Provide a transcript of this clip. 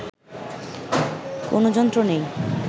কোনো যন্ত্র নেই